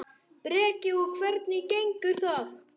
Breki: Og hvernig gengur það?